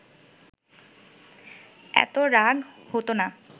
এত রাগ হতো না